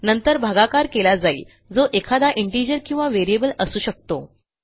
नंतर भागाकार केला जाईल जो एखादा इंटिजर किंवा व्हेरिएबल असू शकतो